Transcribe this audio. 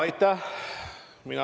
Aitäh!